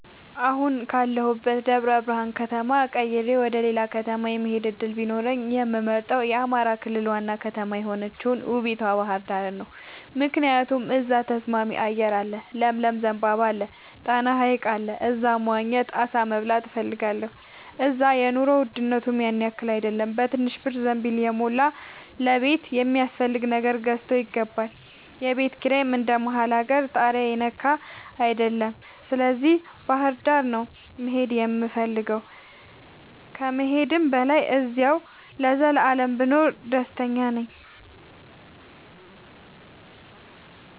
አሁን ካለሁበት ደብረብርሃን ከተማ ቀይሬ ወደሌላ ከተማ የመሆድ እድል ቢኖረኝ የምመርጠው የአማራ ክልል ዋና ከተማ የሆነችውን ውቡቷ ባህርዳርን ነው። ምክንያቱም እዛ ተስማሚ አየር አለ ለምለም ዘንባባ አለ። ጣና ሀይቅ አለ እዛ መዋኘት አሳ መብላት እፈልጋለሁ። እዛ የኑሮ ውድነቱም ያንያክል አይደለም በትንሽ ብር ዘንቢልን የሞላ ለቤት የሚያስፈልግ ነገር ገዝቶ ይገባል። የቤት ኪራይም እንደ መሀል አገር ታሪያ የነካ አይደለም ስለዚህ ባህርዳር ነው መሄድ የምፈልገው ከመሄድም በላይ አዚያው ለዘላለም ብኖር ደስተኛ ነኝ።